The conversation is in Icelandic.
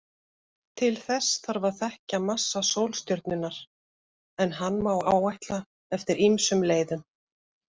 Til þess þarf að þekkja massa sólstjörnunnar, en hann má áætla eftir ýmsum leiðum.